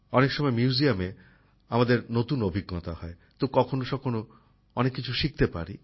অনেক সময় মিউজিয়ামএ আমরা নতুন অভিজ্ঞতা হয় তো কখনো কখনো অনেক কিছু শিখতে পারি